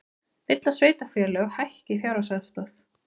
Vill að sveitarfélög hækki fjárhagsaðstoð